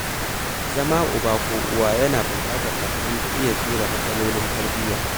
Zama uba ko uwa yana buƙatar haƙuri da iya jure matsalolin tarbiyya.